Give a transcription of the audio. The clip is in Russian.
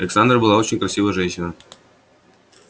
александра была очень красивая женщина